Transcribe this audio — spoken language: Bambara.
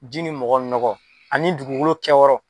Ji ni mɔgɔ ni nɔgɔ ani dugukolo kɛyɔrɔ.